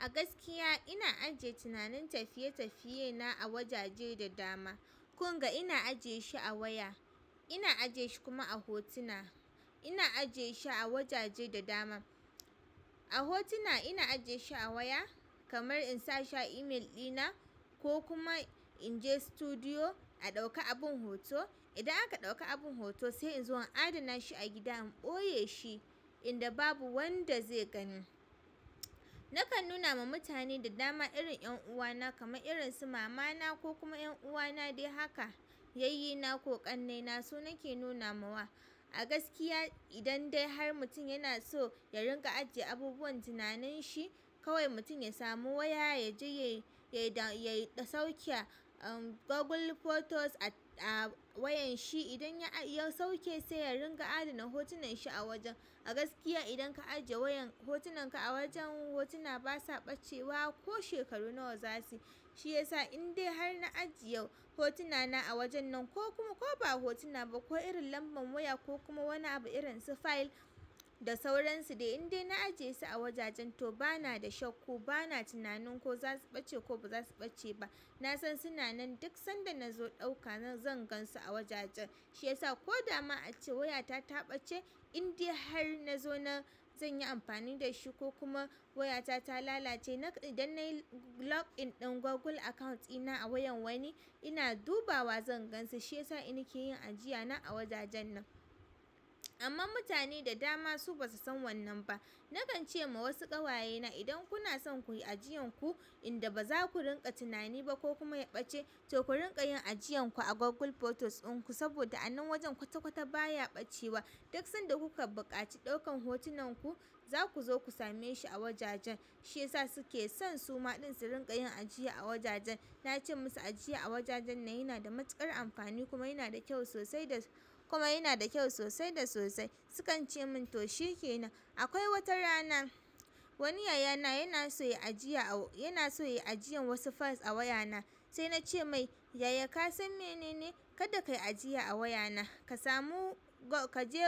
A gaskiya ina ajiye tinanin tafiye tafiyena a wajaje da dama. Kun ga ina ajiye shi a waya, ina ajiye shi kuma a hotuna. Ina ajiye shi a wajaje da dama. A hotuna ina ajiye shi a waya kamar in sa shi a email ɗina ko kuma in je studio a ɗauka abin hoto. Idan aka ɗauka abin hoto sai in zo in adana shi a gida in ɓoye shi inda babu wanda zai gani. Na kan nuna ma mutane da dama irin ƴan uwana kamar irin su mama na ko kuma ƴan uwana dai haka, yayyina ko ƙannaina su nake nunawa. A gaskiya idan dai har mutum yana so ya ringa ajiye abubuwan tinanin shi kawai mutum ya samu waya ya je ya sauke Google Photos a wayan shi. Idan ya iya sauke sai ya ringa adana hotunan shi a wajen. A gaskiya idan ka ajiye hotunan ka a wajen hotuna basa ɓacewa ko shekaru nawa za su yi. Shi ya sa indai har na ajiye hotunana a wajen nan ko kuma ko ba hotuna ba ko irin lamban waya ko kuma wani abu irin su fayil da sauransu dai indai na ajiye su a wajajen to bana da shakku bana tunanin ko za su ɓace ko baza su ɓace ba. Na san suna nan duk sanda na zo ɗauka zan gan su a wajajen. Shi ya sa ko dama ace wayata ta ɓace indai har na zo na zan yi amfani da shi ko kuma wayata ta lalace. Idan na yi login ɗin Google account ɗina a wayan wani ina dubawa zan gan su shi. Shi ya sa in nake yin ajiyana a wajajen nan. Amma mutane da dama su basu san wannan ba. Na kan ce ma wasu ƙawaye na idan kuna son ku yi ajiyan ku inda baza ku ringa tunani ba ko kuma ya ɓace to ku ringa yin ajiyanku a Google Photos in ku saboda a nan wajen kwata kwata baya ɓacewa. Duk sanda kuka buƙaci ɗaukan hotunanku za ku zo ku same shi a wajajen. Shi ya sa suke son su ma ɗin su ringa yin ajiya a wajajen. Na ce musu ajiya a wajajen nan yana da matuƙar amfani kuma yana da kyau sosai da kuma yana da kyau sosai da sosai. Sukan ce min to shikenan. Akwai wata rana wani yayana yana so ya yi ajiyan wasu fayil a wayana sai nace mai "yaya ka san menene? Kada ka yi ajiya a wayana ka samu ka je